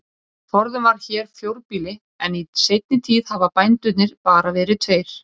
Forðum var hér fjórbýli en í seinni tíð hafa bændurnir bara verið tveir.